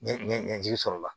Ɲɛ ɲɛji sɔrɔla